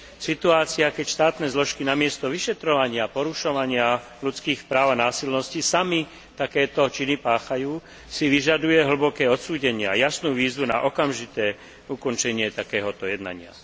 Situácia, keď štátne zložky namiesto vyšetrovania porušovania ľudských práv a násilností, sami takéto činy páchajú si vyžaduje hlboké odsúdenie a jasnú výzvu na okamžité ukončenie takéhoto jednania.